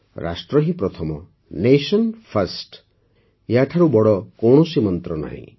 ରାଷ୍ଟ୍ର ହିଁ ପ୍ରଥମ ନ୍ୟାସନ ଫର୍ଷ୍ଟ ଏହାଠାରୁ ବଡ଼ କୌଣସି ମନ୍ତ୍ର ନାହିଁ